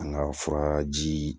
An ka furaji